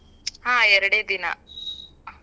ಹಾ ಎರಡೇ ದಿನಾ.